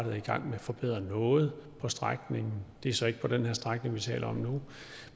er i gang med at forbedre noget på strækningen det er så ikke på den strækning vi taler om nu